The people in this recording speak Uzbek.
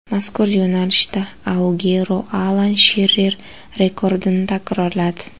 Mazkur yo‘nalishda Aguero Alan Shirer rekordini takrorladi.